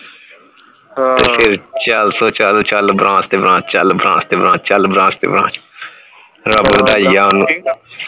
ਹਾਂ ਤੇ ਚੱਲ ਫੇਰ ਚੱਲ ਚੱਲ branch ਤੇ branch ਚੱਲ branch ਤੇ branch ਚੱਲ ਚੱਲ branch ਤੇ branch ਰੱਬ ਵਧਾਈ ਗਿਆ